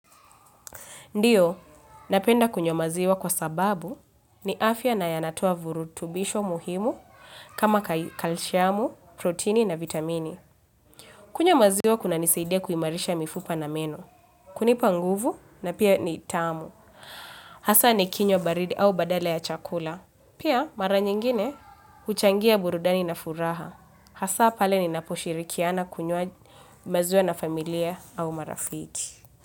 Ndiyo, napenda kunywa maziwa kwa sababu ni afya na yanatoa vurutubisho muhimu kama kalshiamu, proteni na vitamini. Kunywa maziwa kunanisaidia kuimarisha mifupa na meno. Kunipa nguvu na pia ni tamu. Hasa nikinywa baridi au badala ya chakula. Pia mara nyingine uchangia burudani na furaha. Hasa pale ninaposhirikiana kunywa maziwa na familia au marafiki.